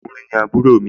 ọkùnrin ni àbúrò mi